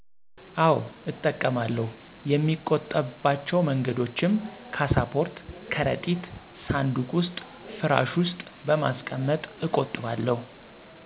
አወ እጠቀማለሁ የሚቆጠብ ባቸው መንገዶችም ካሳፖርት፣ ከረጢት፣ ሳንዱቅ ዉስጥ፣ ፍራሽ ዉስጥ በማስቀመጥ እቆጥባለሁ።